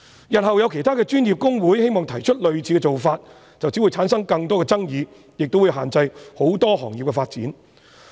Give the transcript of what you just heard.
日後有其他專業公會希望提出類似的做法，便只會產生更多的爭議，亦會限制很多行業的發展。